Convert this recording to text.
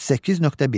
38.1.